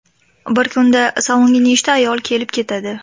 Bir kunda salonga nechta ayol kelib ketadi.